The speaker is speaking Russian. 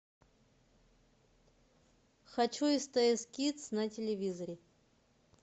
хочу стс кидс на телевизоре